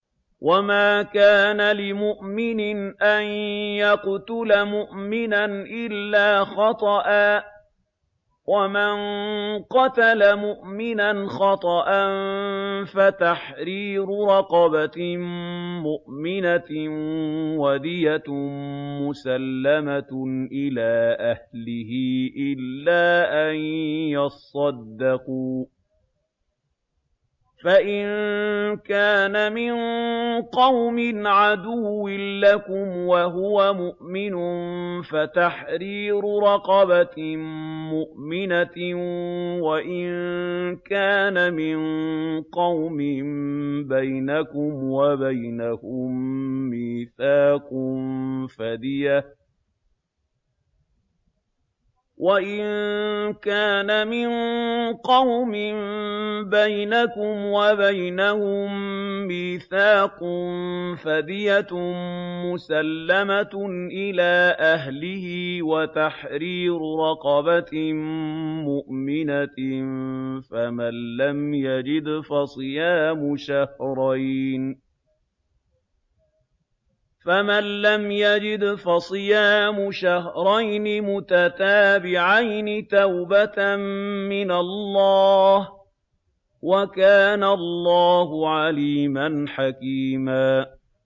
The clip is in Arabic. وَمَا كَانَ لِمُؤْمِنٍ أَن يَقْتُلَ مُؤْمِنًا إِلَّا خَطَأً ۚ وَمَن قَتَلَ مُؤْمِنًا خَطَأً فَتَحْرِيرُ رَقَبَةٍ مُّؤْمِنَةٍ وَدِيَةٌ مُّسَلَّمَةٌ إِلَىٰ أَهْلِهِ إِلَّا أَن يَصَّدَّقُوا ۚ فَإِن كَانَ مِن قَوْمٍ عَدُوٍّ لَّكُمْ وَهُوَ مُؤْمِنٌ فَتَحْرِيرُ رَقَبَةٍ مُّؤْمِنَةٍ ۖ وَإِن كَانَ مِن قَوْمٍ بَيْنَكُمْ وَبَيْنَهُم مِّيثَاقٌ فَدِيَةٌ مُّسَلَّمَةٌ إِلَىٰ أَهْلِهِ وَتَحْرِيرُ رَقَبَةٍ مُّؤْمِنَةٍ ۖ فَمَن لَّمْ يَجِدْ فَصِيَامُ شَهْرَيْنِ مُتَتَابِعَيْنِ تَوْبَةً مِّنَ اللَّهِ ۗ وَكَانَ اللَّهُ عَلِيمًا حَكِيمًا